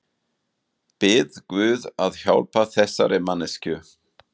Bið guð að hjálpa þessari manneskju.